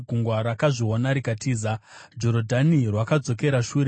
Gungwa rakazviona rikatiza, Jorodhani rwakadzokera shure;